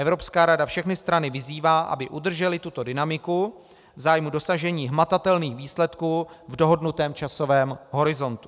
Evropská rada všechny strany vyzývá, aby udržely tuto dynamiku v zájmu dosažení hmatatelných výsledků v dohodnutém časovém horizontu.